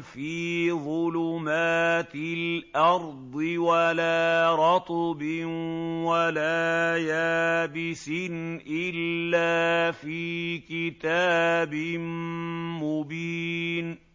فِي ظُلُمَاتِ الْأَرْضِ وَلَا رَطْبٍ وَلَا يَابِسٍ إِلَّا فِي كِتَابٍ مُّبِينٍ